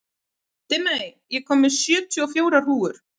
Dimmey, ég kom með sjötíu og fjórar húfur!